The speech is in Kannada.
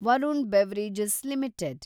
Varun beverages limited